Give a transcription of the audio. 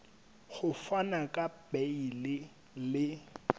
ho fana ka beile le